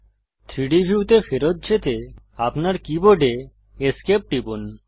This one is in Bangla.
3ডি ভিউতে ফেরত যেতে আপনার কীবোর্ডে esc টিপুন